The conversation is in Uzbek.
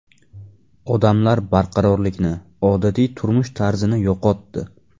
Odamlar barqarorlikni, odatiy turmush tarzini yo‘qotdi.